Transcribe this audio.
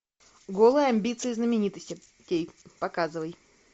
голые амбиции знаменитостей показывай